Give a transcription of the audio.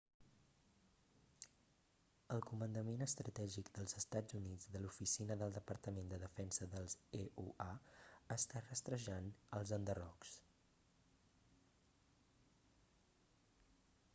el comandament estratègic dels estats units de l'oficina del departament de defensa dels eua està rastrejant els enderrocs